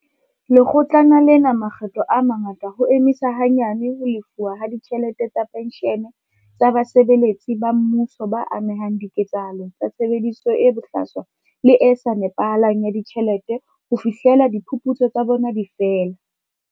Lekgo tlana lena makgetlo a mangata ho emisa hanyane ho lefuwa ha ditjhelete tsa penshene tsa basebeletsi ba mmuso ba amehang diketsahalong tsa tshebediso e bohlaswa le e sa nepahalang ya ditjhelete ho fihlela diphuputso tsa bona di fela.